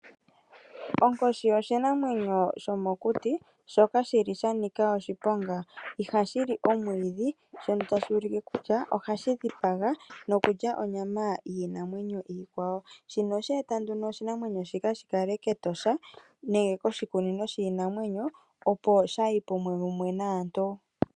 Onkoshi oshinamwenyo shomokuti shoka sha nika oshiponga, ihashi li omwiidhi shono tashi ulike kutya ohashi dhipaga nokulya onyama yiinamwenyo iikwawo, shino osha eta nduno opo oshinamwenyo shino shi kale keEtosha nenge koshukunino shiinamwenyo, opo shaaha ipume mumwe naantu.